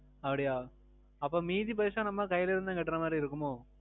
அப்படியா! அப்போ மீதி பைசா நம்ம கைல இருந்து தான் கற்ற மாறி இருக்குமோ?